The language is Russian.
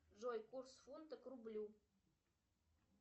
джой курс фунта к рублю